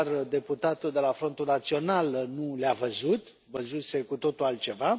Doar deputatul de la Frontul Național nu le a văzut, văzuse cu totul altceva.